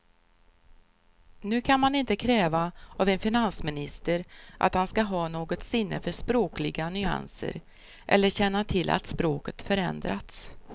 Nu kan man inte kräva av en finansminister att han ska ha något sinne för språkliga nyanser eller känna till att språket förändrats.